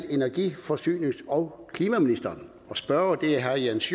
energi forsynings og klimaministeren og spørgeren er herre jens